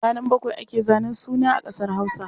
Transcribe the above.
Ranar bakwai ake zanen suna a ƙasar Hausa.